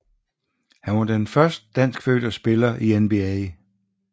Han var den første danskfødte spiller i NBA